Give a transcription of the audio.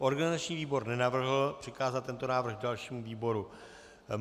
Organizační výbor nenavrhl přikázat tento návrh dalšímu výboru.